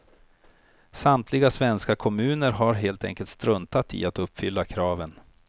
Samtliga svenska kommuner har helt enkelt struntat i att uppfylla kraven.